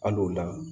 Al'o la